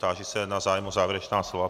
Táži se na zájem o závěrečná slova.